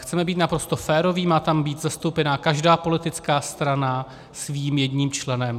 Chceme být naprosto féroví, má tam být zastoupena každá politická strana svým jedním členem.